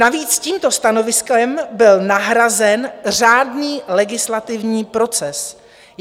Navíc tímto stanoviskem byl nahrazen řádný legislativní proces.